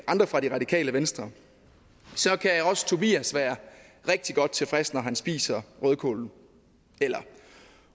andre fra det radikale venstre så kan også tobias være rigtig godt tilfreds når han spiser rødkålen eller